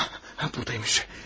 Ah, buradaymış.